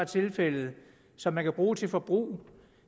tilfælde og som man kan bruge til forbrug